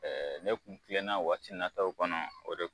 Ɛɛ ne tuntilenna waati nataw kɔnɔ o de ye